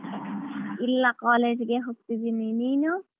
ಇಲ್ಲ college ಗೆ ಹೋಗ್ತಿದೀನಿ. ನೀನು?